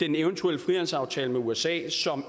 den eventuelle frihandelsaftale med usa som